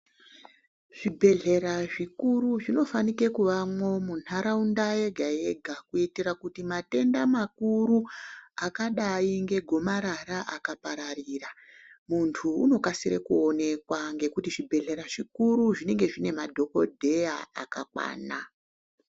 Zvibhedhlera zvikuru zvinofanike kuvamwo mundaraunda yega yega kuitira kuti matenda makuru akadai ngegomarara akapararira muntu unokasire kuonekwa ngokuti zvibhedhera zvikuru zvinenge zviine madhokodheya akakwana.